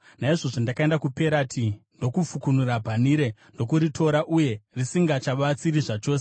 Naizvozvo ndakaenda kuPerati ndokufukunura bhanhire ndokuritora, uye risingachabatsiri zvachose.